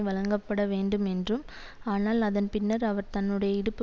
வழங்கப்படவேண்டும் என்றும் ஆனால் அதன் பின்னர் அவர் தன்னுடைய இடுப்பு